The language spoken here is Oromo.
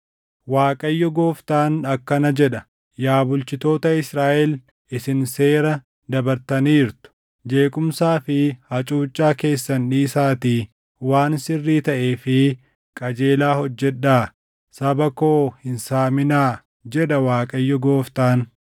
“‘ Waaqayyo Gooftaan akkana jedha: Yaa bulchitoota Israaʼel isin seera dabartaniirtu! Jeequmsaa fi hacuuccaa keessan dhiisaatii waan sirrii taʼee fi qajeelaa hojjedhaa. Saba koo hin saaminaa, jedha Waaqayyo Gooftaan.